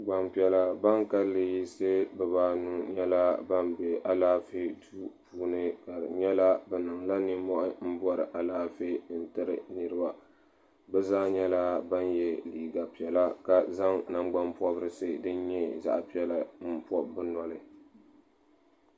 Gbampiɛla ban kalli yiɣisi bibaanu nyɛla ban be alaafee duu puuni ka di nyɛla bɛ niŋla ninmohi bori alaafee n yiri niriba bɛ zaa nyɛla ban ye liiga piɛla ka zaŋ nangban pobrisi din nyɛ zaɣa piɛla n pobi bɛ noli.